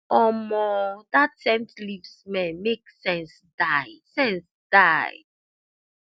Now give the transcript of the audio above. omoo that scent leaf smell make sense die sense die